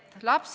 Palun lisaaega!